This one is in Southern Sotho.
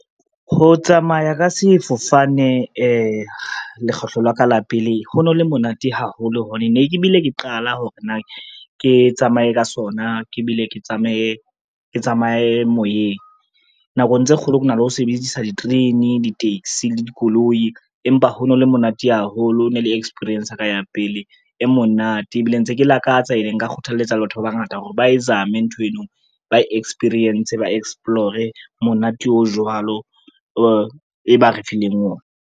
Ho tsamaya ka sefofane lekgetlo la ka la pele ho no le monate haholo hobane ne ke bile ke qala hore na ke tsamaye ka sona, ke bile ke tsamaye moyeng. Nakong tse kgolo ke na le ho sebedisa diterene, di-taxi le dikoloi, empa ho no le monate haholo ne le experience ka ya pele e monate, ebile ntse ke lakatsa ene nka kgothaletsa le batho ba bangata hore ba e zame nthweno ba experience, ba explore-e monate o jwalo e ba re fileng ona.